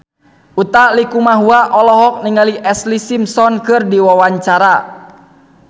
Utha Likumahua olohok ningali Ashlee Simpson keur diwawancara